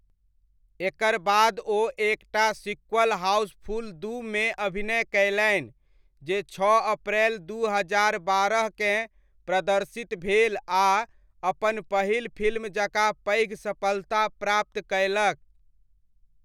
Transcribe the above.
एकर बाद ओ एक टा सीक्वल 'हाउसफुल दू' मे अभिनय कयलनि जे छओ अप्रैल दू हजार बारहकेँ प्रदर्शित भेल आ अपन पहिल फिल्म जकाँ पैघ सफलता प्राप्त कयलक।